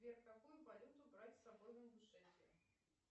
сбер какую валюту брать с собой в ингушетию